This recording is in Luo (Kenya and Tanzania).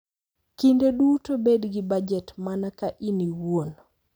Kinde duto bed gi bajet mana ka in iwuon.